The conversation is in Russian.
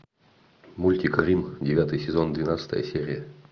мультик рим девятый сезон двенадцатая серия